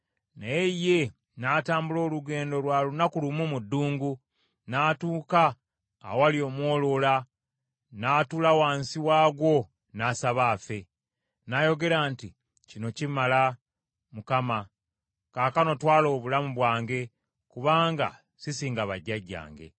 Naye ye n’atambula olugendo lwa lunaku lumu mu ddungu, n’atuuka awali omwoloola, n’atuula wansi waagwo, n’asaba afe. N’ayogera nti, “Kino kimala, Mukama , kaakano twala obulamu bwange, kubanga sisinga bajjajjange.”